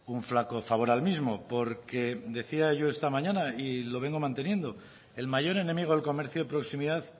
un flaco favor al mismo porque decía yo esta mañana y lo vengo manteniendo el mayor enemigo del comercio de proximidad